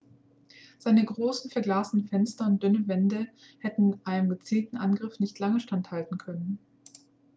seine großen verglasten fenster und dünnen wände hätten einem gezielten angriff nicht lange standhalten können